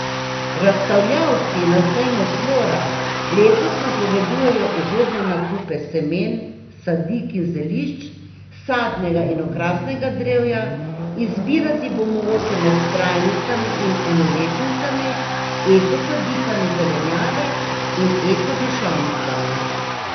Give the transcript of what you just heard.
Razstavljavci na sejmu Flora letos napovedujejo ugodne nakupe semen, sadik in zelišč, sadnega in okrasnega drevja, izbirati bo mogoče med trajnicami in enoletnicami, eko sadikami zelenjave in eko dišavnicami.